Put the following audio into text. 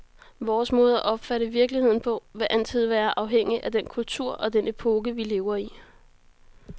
Vores måde at opfatte virkeligheden på vil altid være afhængig af den kultur og den epoke, vi lever i.